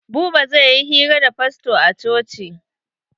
Buba zai yi hira da fasto a coci.